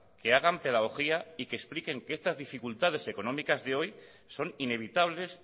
que hagan pedagogía y que expliquen que estas dificultades económicas de hoy son inevitables